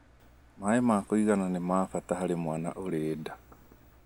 Maĩ ma kũigana nĩ ma bata harĩ mwana ũrĩ nda.